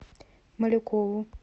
малюкову